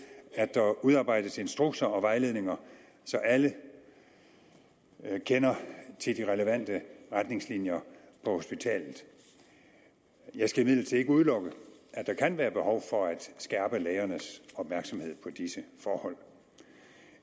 at der udarbejdes instrukser og vejledninger så alle kender til de relevante retningslinjer på hospitalet jeg skal imidlertid ikke udelukke at der kan være behov for at skærpe lægernes opmærksomhed på disse forhold